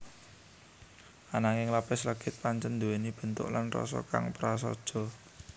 Ananging lapis legit pancèn nduwèni bentuk lan rasa kang prasaja